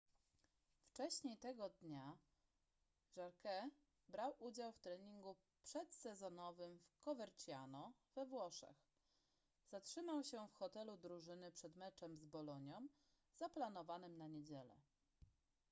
wcześniej tego dnia jarque brał udział w treningu przedsezonowym w coverciano we włoszech zatrzymał się w hotelu drużyny przed meczem z bolonią zaplanowanym na niedzielę